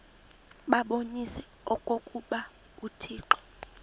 babonise okokuba uthixo